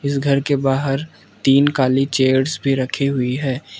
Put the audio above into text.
इस घर के बाहर तीन काली चेयर्स भी रखी हुई है।